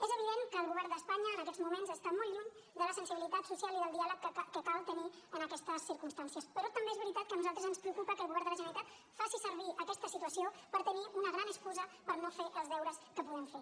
és evident que el govern d’espanya en aquests moments està molt lluny de la sensibilitat social i del diàleg que cal tenir en aquestes circumstàncies però també és veritat que a nosaltres ens preocupa que el govern de la generalitat faci servir aquesta situació per tenir una gran excusa per no fer els deures que podem fer